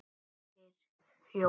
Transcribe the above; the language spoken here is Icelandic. Birgir Jón.